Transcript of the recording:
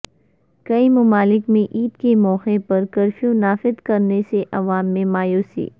کئی ممالک میں عید کے موقع پر کرفیو نافد کرنے سے عوام میں مایوسی